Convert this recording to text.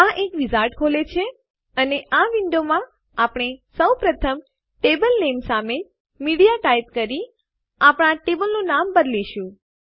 આ એક વિઝાર્ડ ખોલે છે અને આ વિન્ડોમાં આપણે સૌ પ્રથમ ટેબલ નામે સામે મીડિયા ટાઈપ કરી આપણા ટેબલનું નામ બદલીશું